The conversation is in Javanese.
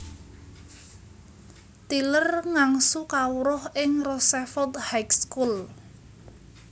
Tyler ngangsu kawruh ing Roosevelt High School